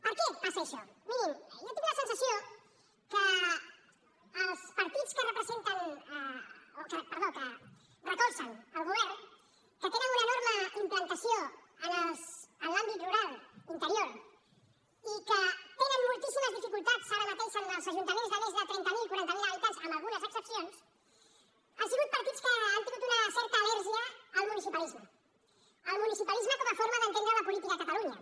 per què passa això mirin jo tinc la sensació que els partits que recolzen el govern que tenen una enorme implantació en l’àmbit rural i interior i que tenen moltíssimes dificultats ara mateix en els ajuntaments de més de trenta mil o quaranta mil habitants amb algunes excepcions han sigut partits que han tingut una certa al·lèrgia al municipalisme al municipalisme com a forma d’entendre la política a catalunya